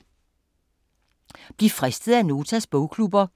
Bliv fristet af Notas bogklubber